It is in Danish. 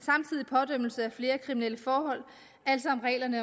ved samtidig pådømmelse af flere kriminelle forhold altså reglerne